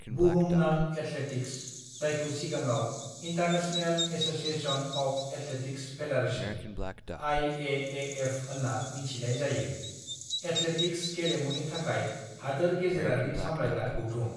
"बुहुमनां एथलेटिक्स, जायखौ सिगाङाव international association of athletics federation (IAAF) होन्ना मिन्थिनाय जायो, एथलेटिक्स गेलेमुनि थाखाय हादोर गेजेरारि सामलायग्रा गौथुम।"